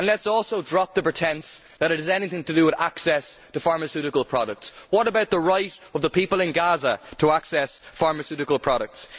Let us also drop the pretence that it is anything to do with access to pharmaceutical products what about the right of the people in Gaza to access pharmaceutical products?